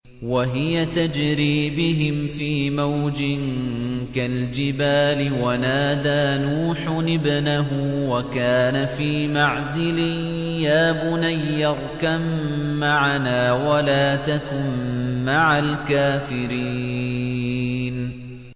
وَهِيَ تَجْرِي بِهِمْ فِي مَوْجٍ كَالْجِبَالِ وَنَادَىٰ نُوحٌ ابْنَهُ وَكَانَ فِي مَعْزِلٍ يَا بُنَيَّ ارْكَب مَّعَنَا وَلَا تَكُن مَّعَ الْكَافِرِينَ